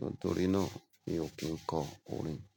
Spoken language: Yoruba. Nítorí náà mi ò kín kọ orin.